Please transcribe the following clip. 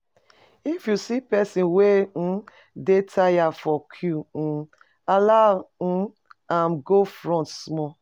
If you see person uhm wey dey tire for queue, [ehn] allow am go front small